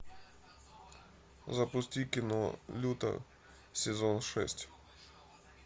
запусти кино лютер сезон шесть